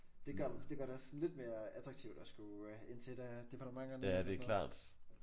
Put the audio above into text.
Det gør det gør det også sådan lidt mere attraktivt at skulle ind til et af departementerne og sådan noget